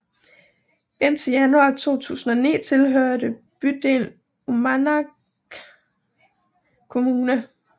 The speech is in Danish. Indtil januar 2009 tilhørte bygden Uummannaq Kommune